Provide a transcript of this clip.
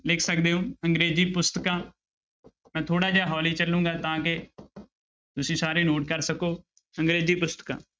ਲਿਖ ਸਕਦੇ ਹੋ ਅੰਗਰੇਜ਼ੀ ਪੁਸਤਕਾਂ ਥੋੜ੍ਹਾ ਜਿਹਾ ਹੋਲੀ ਚੱਲਾਂਗਾ ਤਾਂ ਕਿ ਤੁਸੀਂ ਸਾਰੇ note ਕਰ ਸਕੋ ਅੰਗਰੇਜ਼ੀ ਪੁਸਤਕਾਂ